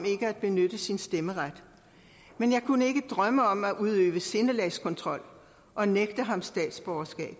ikke at benytte sin stemmeret men jeg kunne ikke drømme om at udøve sindelagskontrol og nægte ham statsborgerskab